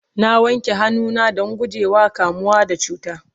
na wanke hannu na Dan gujewa kamuwa da cuta